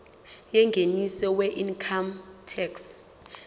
yengeniso weincome tax